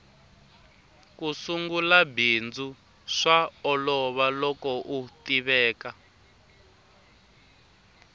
ku sungula bindzu swa olova loko u tiveka